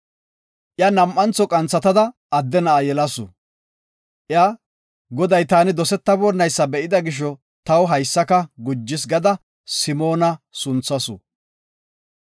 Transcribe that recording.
Iya nam7antho qanthatada adde na7a yelasu. Iya, “Goday taani dosetabonaysa be7ida gisho, taw haysaka gujis” gada Simoona gada sunthasu.